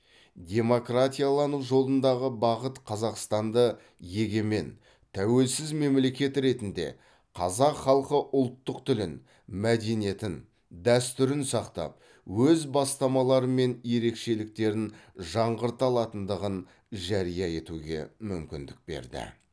демократиялану жолындағы бағыт қазақстанды егемен тәуелсіз мемлекет ретінде қазақ халқы ұлттық тілін мәдениетін дәстүрін сақтап өз бастамалары мен ерекшеліктерін жаңғырта алатындығын жария етуге мүмкіндік берді